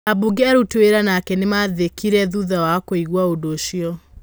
Aabunge arũti wĩra nake nĩmathekire thutha wa kũigwa ũndũũcio.